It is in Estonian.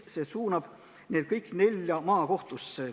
See suunab need kõik nelja maakohtusse.